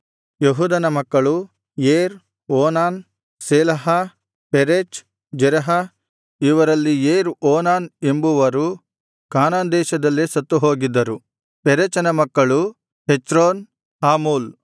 ಯೆಹೂದನ ಮಕ್ಕಳು ಏರ್ ಓನಾನ್ ಶೇಲಾಹ ಪೆರೆಚ್ ಜೆರಹ ಇವರಲ್ಲಿ ಏರ್ ಓನಾನ್ ಎಂಬವರು ಕಾನಾನ್ ದೇಶದಲ್ಲೇ ಸತ್ತು ಹೋಗಿದ್ದರು ಪೆರೆಚನ ಮಕ್ಕಳು ಹೆಚ್ರೋನ್ ಹಾಮೂಲ್